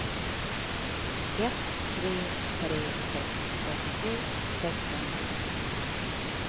ett tre tre sex åttiotre sexhundranittionio